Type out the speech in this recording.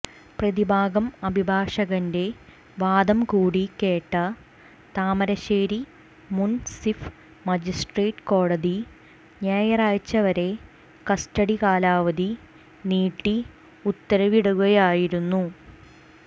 പ്രതിഭാഗം അഭിഭാഷകന്റെ വാദംകൂടി കേട്ട താമരശ്ശേരി മുൻസിഫ് മജിസ്ട്രേറ്റ് കോടതി ഞായറാഴ്ചവരെ കസ്റ്റഡികാലാവധി നീട്ടി ഉത്തരവിടുകയായിരുന്നു